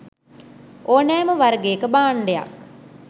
ඕනෑම වර්ගයක භාණ්ඩයක්